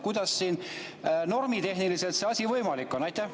Kuidas normitehniliselt see asi võimalik on?